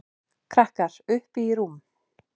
Krakkar: Uppi í rúmi.